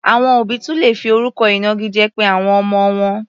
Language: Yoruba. Àwọn òbí tún lè fi orúkọ ìnagijẹ pe àwọn ọmọ wọn.